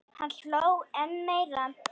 Hann hló enn meira.